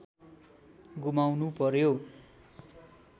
गुमाउनु पर्‍यो